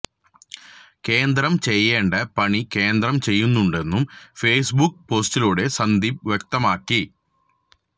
കേന്ദ്രം ചെയ്യേണ്ട പണി കേന്ദ്രം ചെയ്യുന്നുണ്ടെന്നും ഫേസ്ബുക്ക് പോസ്റ്റിലൂടെ സന്ദീപ് വ്യക്തമാക്കി